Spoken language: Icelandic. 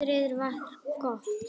Veðrið var gott.